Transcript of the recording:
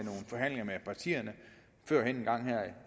partierne før en gang